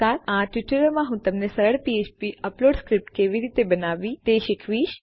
આ ટ્યુટોરીયલમાં હું તમને સરળ ફ્ફ્પ અપલોડ સ્ક્રિપ્ટ કેવી રીતે બનાવવી તે શીખવીશ